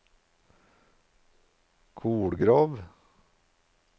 Kolgrov